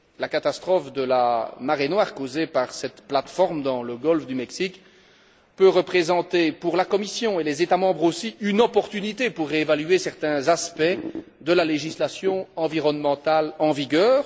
La catastrophe de la marée noire causée par cette plateforme dans le golfe du Mexique peut aussi représenter, pour la Commission et les États membres, une opportunité pour réévaluer certains aspects de la législation environnementale en vigueur.